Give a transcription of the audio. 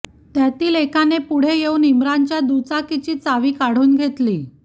त्यातील एकाने पुढे येऊन इम्रानच्या दुचाकीची चावी काढून घेतली